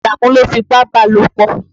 Àlàmú ló fipá bá a lópọ̀.